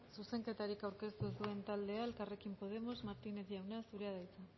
zuzenketarik aurkeztu ez duen taldea elkarrekin podemos martínez jauna zurea da hitza